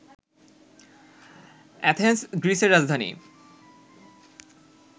Athens গ্রীসের রাজধানী